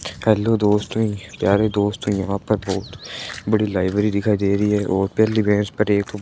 hello दोस्तों प्यारे दोस्तों यहां पर बहोत बड़ी लाइब्रेरी दिखाई दे रही है और पहली भैंस पर एक--